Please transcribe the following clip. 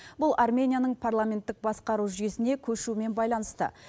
бұл арменияның парламенттік басқару жүйесіне көшумен байланысты